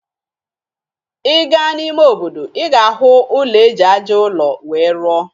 Ị gaa n'ime obodo, ị ga-ahụ ụlọ eji aja ụlọ wee rụọ.